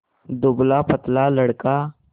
दुबलापतला लड़का